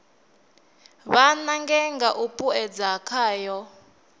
vha nange nga u puṱedza khayo